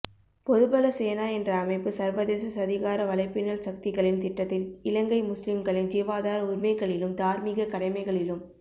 பொதுபல சேனா என்ற அமைப்பு சர்வதேச சதிகார வலைப்பின்னல் சக்திகளின் திட்டத்தில் இலங்கை முஸ்லிம்களின் ஜீவாதார உரிமைகளிலும் தார்மீகக் கடமைகளிலும்